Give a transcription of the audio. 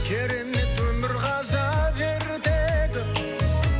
керемет өмір ғажап ертегі